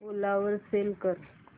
ओला वर सेल कर